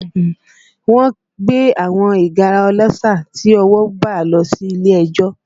Wọ́n gbé àwọn ìgárá ọlọ́ṣà tí ọwọ́ bà lọ sí ilé ẹjọ́